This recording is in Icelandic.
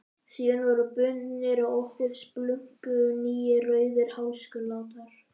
Síðan voru bundnir á okkur splunkunýir rauðir hálsklútar.